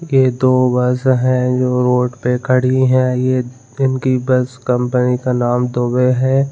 ये दो बस है जो रोड पे खड़ी है ये दिन की बस कंपनी का नाम दुबे है।